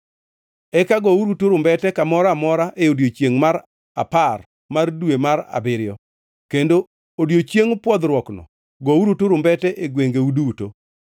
Eka gouru turumbete kamoro amora e odiechiengʼ mar apar mar dwe mar abiriyo, kendo Odiechieng Pwodhruokno gouru turumbete e gwengeu duto.